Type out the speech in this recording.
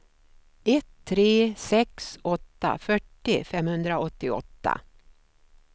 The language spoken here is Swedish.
ett tre sex åtta fyrtio femhundraåttioåtta